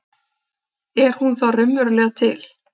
Er hún þá raunverulega til?